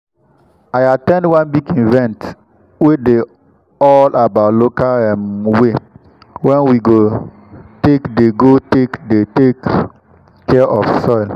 i at ten d one big event wey dey all about local um way wen we go take dey go take dey take um care of soil